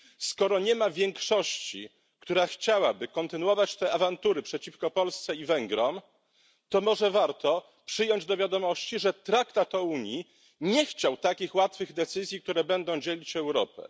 Skoro nie ma większości, która chciałaby kontynuować te awantury przeciwko Polsce i Węgrom, to może warto przyjąć do wiadomości, że Traktat o Unii nie chciał takich łatwych decyzji, które będą dzielić Europę.